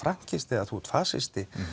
þú ert fasisti